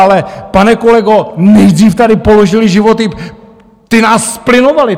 Ale pane kolego, nejdřív tady položili životy... ti nás zplynovali!